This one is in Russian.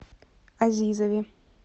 азизове